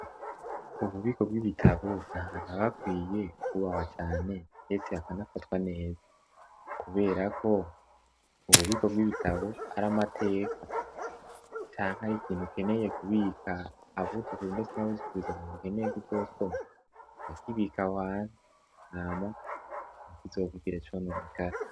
Ububiko bw'ibitabo nta hantu abakwiye kwubahwa cane mdese hakanafatwa neza, kubera ko ububiko bw'ibitabo ari amateka canke ari ikintu ukeneye kubika abuzutu, ndetse nabuze ukurizabantu ukeneye kuzosoma nakibika wan nama kizowgugira conamukare.